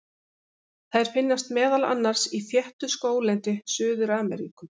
Þær finnast meðal annars í þéttu skóglendi Suður-Ameríku.